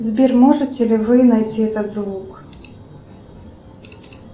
сбер можете ли вы найти этот звук